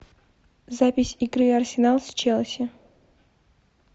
запись игры арсенал с челси